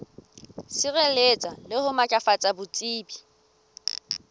sireletsa le ho matlafatsa botsebi